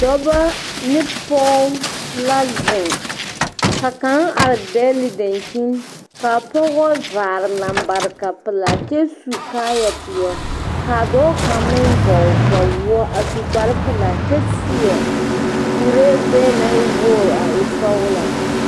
Dɔbɔ ne pɔge la zeŋ ka kaŋ are dɛgle daŋkyinni kaa pɔgebɔ vaare lambareka pelaa kyɛ su kaaya pɛɛle kaa dɔɔ kaŋ meŋ vɔgle kpawɔɔ a su kpare pelaa kyɛ seɛ kuree gbɛɛ naŋ e wuore a e sɔglaa